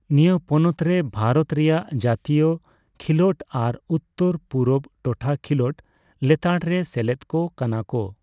ᱱᱤᱭᱟᱹ ᱯᱚᱱᱚᱛᱨᱮ ᱵᱷᱟᱨᱚᱛ ᱨᱮᱭᱟᱜ ᱡᱟᱛᱤᱭᱚ ᱠᱷᱮᱞᱳᱰ ᱟᱨ ᱩᱛᱛᱚᱨᱼᱯᱩᱨᱩᱵ ᱴᱚᱴᱷᱟ ᱠᱷᱮᱞᱳᱰ ᱞᱮᱛᱟᱲᱨᱮ ᱥᱮᱞᱮᱫ ᱠᱚ ᱠᱟᱱᱟ ᱠᱚ᱾